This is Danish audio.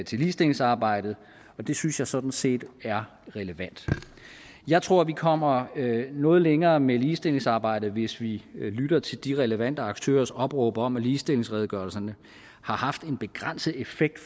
til ligestillingsarbejdet og det synes jeg sådan set er relevant jeg tror at vi kommer noget længere med ligestillingsarbejdet hvis vi lytter til de relevante aktørers opråb om at ligestillingsredegørelserne har haft en begrænset effekt